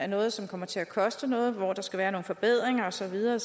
noget som kommer til at koste noget og hvor der skal være nogle forbedringer og så videre